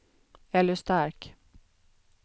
Elly Stark